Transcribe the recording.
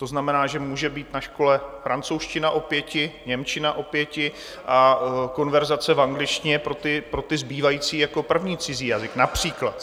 To znamená, že může být na škole francouzština o pěti, němčina o pěti a konverzace v angličtině pro ty zbývající jako první cizí jazyk například.